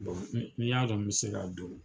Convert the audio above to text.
ni n ya dɔn n be se ka don.